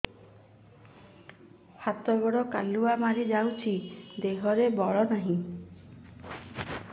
ହାତ ଗୋଡ଼ କାଲୁଆ ମାରି ଯାଉଛି ଦେହରେ ବଳ ନାହିଁ